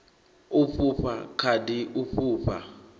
u fhufha khadi u fhufha